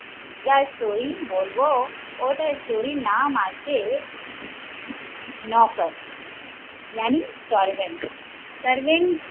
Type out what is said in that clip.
যার story বলবো ওটার story র নাম আছে নৌকর য়ানি servent